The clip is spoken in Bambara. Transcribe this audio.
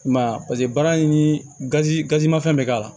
I m'a ye a paseke baara ni gazi gazi ma fɛn bɛ k'a la